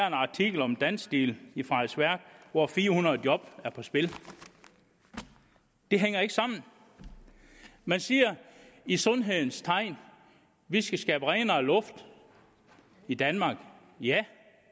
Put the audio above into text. en artikel om dansteel i frederiksværk hvor fire hundrede job er på spil det hænger ikke sammen man siger i sundhedens tegn at vi skal skabe renere luft i danmark ja